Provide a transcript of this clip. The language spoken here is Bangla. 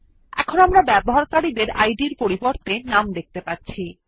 এখন আমরা ব্যবহারকারী ডের নামের পরিবর্তে ইদ দেখতে পাচ্ছি